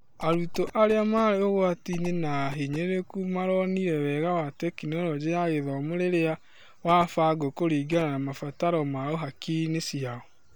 Arutwo arĩa marĩ ũgwatiinĩ na ahinyĩrĩrĩku maronire wega wa Tekinoronjĩ ya Gĩthomo rĩrĩa wa bangwo kũringana na mabataro mao hakiriinĩ cia.